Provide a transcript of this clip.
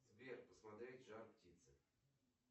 сбер посмотреть жар птица